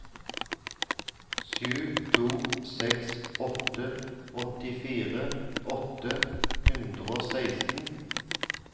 sju to seks åtte åttifire åtte hundre og seksten